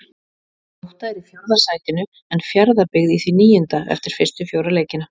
Grótta er í fjórða sætinu, en Fjarðabyggð í því níunda eftir fyrstu fjóra leikina.